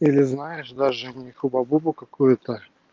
или знаешь даже не хуба-бубу какую-то